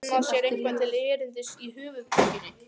Finna sér eitthvað til erindis í höfuðborginni?